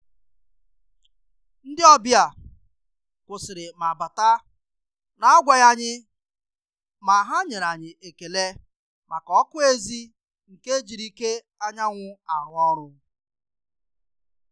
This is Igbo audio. Ndị́ ọ́bị̀à kwụ́sị́rị̀ mà bátà nà-ágwàghị́ ànyị́, mà hà nyèrè ànyị́ ékélé màkà ọ́kụ́ ézì nke jírí íké ányà nwụ́ àrụ́ ọ́rụ́.